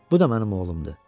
Bu da mənim oğlumdur.